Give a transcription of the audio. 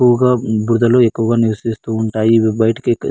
ఎక్కువగా బురద లో ఎక్కువుగా నీవిస్తుంటాయి బయటకి--